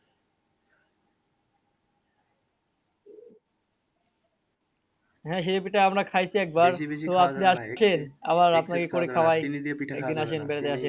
হ্যাঁ সিরে পিঠা আমরা খাইছি এক বার